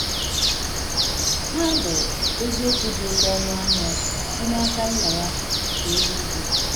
Ha bụ eziokwu dị oké ọnụ ahịa si n’aka Nna ya nke eluigwe!